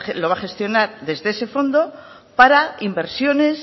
lo va a gestionar desde ese fondo para inversiones